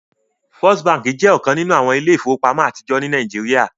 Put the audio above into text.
First Bánkì jẹ́ ọkan nínu awọn ilẹ̀-ifowopamọ̀ atijọ ní Nàìjíríà.